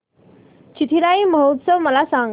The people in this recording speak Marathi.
चिथिराई महोत्सव मला सांग